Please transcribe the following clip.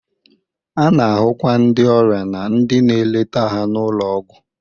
A na-ahụkwa ndị ọrịa na ndị na-eleta ha n'ụlọ ọgwụ.